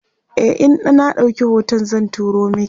e in na ɗauki hoton zan turo maki